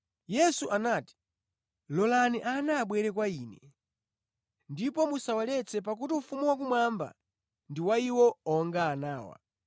Yesu anati, “Lolani ana abwere kwa Ine, ndipo musawaletse pakuti ufumu wakumwamba ndi wa iwo onga anawa.”